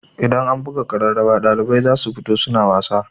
Idan an buga ƙararrawa ɗalibai zasu fito suna nishaɗi.